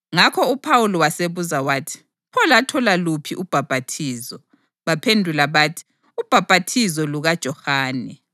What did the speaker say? Ngakho uPhawuli wasebuza wathi, “Pho lathola luphi ubhaphathizo?” Baphendula bathi, “Ubhaphathizo lukaJohane.”